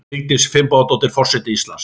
Vigdís Finnbogadóttir forseti Íslands